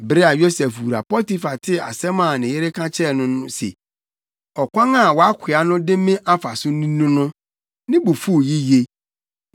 Bere a Yosef wura Potifar tee asɛm a ne yere ka kyerɛɛ no se, “Ɔkwan a wʼakoa no de me faa so ni” no, ne bo fuw yiye.